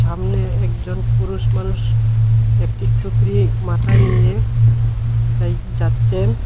সামনে একজন পুরুষ মানুষ একটি টুকরি মাথায় নিয়ে কোথায় যাচ্চেন।